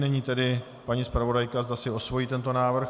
Nyní tedy paní zpravodajka, zda si osvojí tento návrh.